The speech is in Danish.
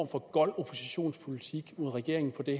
for gold oppositionspolitik mod regeringen i